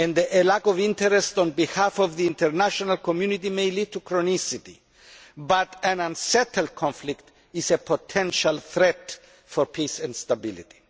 A lack of interest on the part of the international community may lead to chronicity and an unsettled conflict is a potential threat to peace and stability.